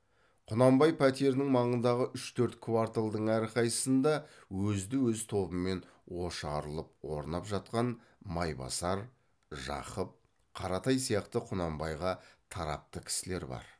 құнанбай пәтерінің маңындағы үш төрт кварталдың әрқайсысында өзді өз тобымен ошарылып орнап жатқан майбасар жақып қаратай сияқты құнанбайға тарапты кісілер бар